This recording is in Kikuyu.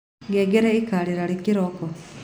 ngengere ĩkarĩra rĩ kĩroko